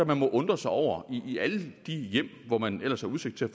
man må undre sig over i alle de hjem hvor man ellers har udsigt til